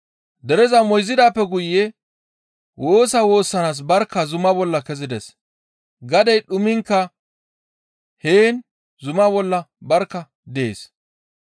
Dereza moyzidaappe guye woosa woossanaas barkka zuma bolla kezides. Gadey dhumiinkka heen zuma bolla barkka dees.